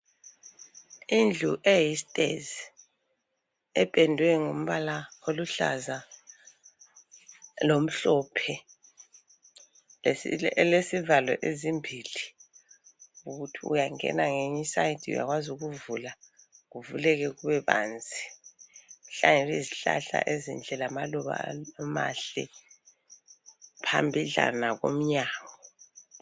Indlu eyisitezi ependwe ngombala oluhlaza lomhlophe elesivalo ezimbili ukuthi uyangena ngeyinye iside uyakwazi ukuvula kuvuleke kube banzi. Kuhlangene izihlahla ezinhle lamaluba amahle phambidlana komnyango.